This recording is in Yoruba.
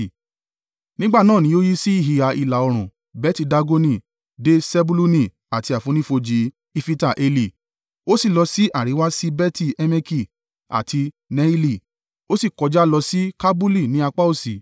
Nígbà náà ni o yí sí ìhà ìlà-oòrùn Beti-Dagoni, dé Sebuluni àti àfonífojì Ifita-Eli, ó sì lọ sí àríwá sí Beti-Emeki àti Neieli, ó sì kọjá lọ sí Kabulu ní apá òsì.